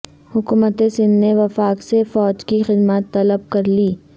حکومت سندھ نے وفاق سے فوج کی خدمات طلب کر لیں